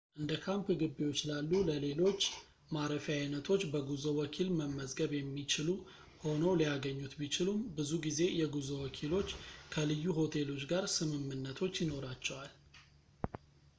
እንደካምፕ ግቢዎች ላሉ ለሌሎች ማረፊያ አይነቶች በጉዞ ወኪል መመዝገብ የሚችሉ ሆነው ሊያገኙት ቢችሉም ብዙ ጊዜ የጉዞ ወኪሎች ከልዩ ሆቴሎች ጋር ስምምነቶች ይኖራቸዋል